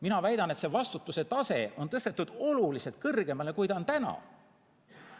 Mina väidan, et see vastutuse tase on tõstetud oluliselt kõrgemale, kui ta on täna.